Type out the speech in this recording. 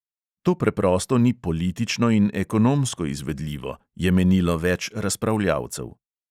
To preprosto ni politično in ekonomsko izvedljivo, je menilo več razpravljavcev.